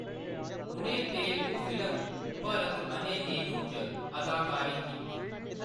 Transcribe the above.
उʼनें तेलुगु फिल्म भरत अने नेनु च अदाकारी कीती।